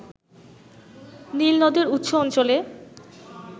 নীল নদের উৎস অঞ্চলে